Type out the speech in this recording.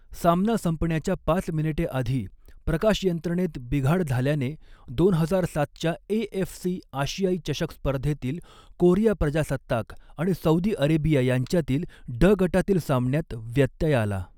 सामना संपण्याच्या पाच मिनिटे आधी प्रकाशयंत्रणेत बिघाड झाल्याने, दोन हजार सातच्या एएफसी आशियाई चषक स्पर्धेतील कोरिया प्रजासत्ताक आणि सौदी अरेबिया यांच्यातील ड गटातील सामन्यात व्यत्यय आला.